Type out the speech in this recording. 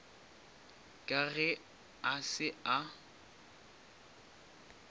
ka ge a se a